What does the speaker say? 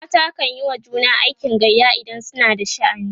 mata kanyi wa juna aikin gayya idan suna da sha'ani